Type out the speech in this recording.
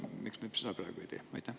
Miks me seda praegu ei tee?